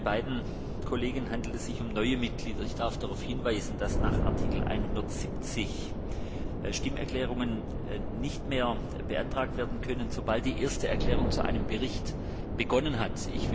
Bei beiden Mitgliedern handelt es sich um neue Mitglieder. Ich darf darauf hinweisen, dass nach Artikel 170 Stimmerklärungen nicht mehr beantragt werden können, sobald die erste Erklärung zu einem Bericht begonnen hat.